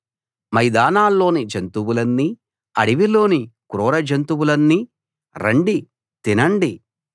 మైదానాల్లోని జంతువులన్నీ అడవిలోని క్రూర జంతువులన్నీ రండి తినండి